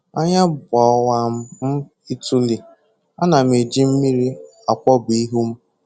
Anya gbawa m ituli, ana m eji mmiri akwọpụ ihu m